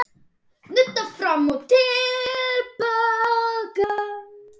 Nudda fram og til baka.